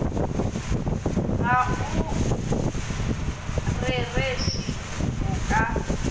ga o rereše go ka